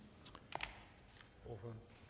jo